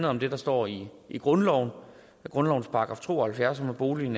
om det der står i grundloven grundlovens § to og halvfjerds om at boligen